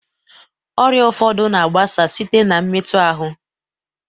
Ọrịa ụfọdụ na-agbasa site na mmetu ahụ.